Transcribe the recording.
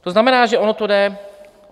To znamená, že ono to jde.